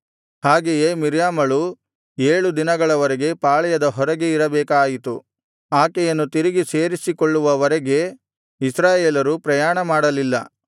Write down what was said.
ಹಾಗೆಯೇ ಮಿರ್ಯಾಮಳು ಏಳು ದಿನಗಳವರೆಗೆ ಪಾಳೆಯದ ಹೊರಗೆ ಇರಬೇಕಾಯಿತು ಆಕೆಯನ್ನು ತಿರುಗಿ ಸೇರಿಸಿಕೊಳ್ಳುವ ವರೆಗೆ ಇಸ್ರಾಯೇಲರು ಪ್ರಯಾಣಮಾಡಲಿಲ್ಲ